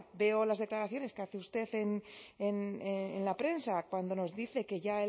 veo las declaraciones que hace usted en la prensa cuando nos dice que ya